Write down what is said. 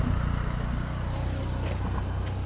En pabbi þinn?